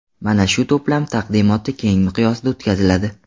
Mana shu to‘plam taqdimoti keng miqyosda o‘tkaziladi.